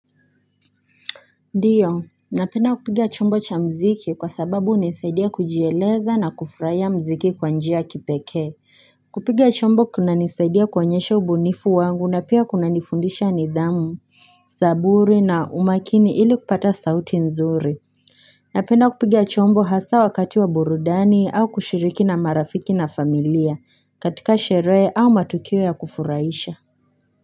Ndiyo, napenda kupiga chombo cha mziki kwa sababu unisaidia kujieleza na kufraia mziki kwa njia kipeke. Kupiga chombo kuna nisaidia kwanyesha ubunifu wangu na pia kunanifundisha nidhamu, saburi na umakini ili kupata sauti nzuri. Napenda kupiga chombo hasa wakati wa burudani au kushiriki na marafiki na familia katika sherehe au matukio ya kufuraisha.